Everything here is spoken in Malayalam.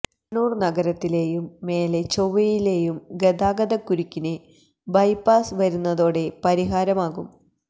കണ്ണൂര് നഗരത്തിലെയും മേലേ ചൊവ്വയിലെയും ഗതാഗതക്കുരുക്കിന് ബൈപ്പാസ് വരുന്നതോടെ പരിഹാരമാകും